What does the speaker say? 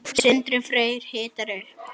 Sindri Freyr hitar upp.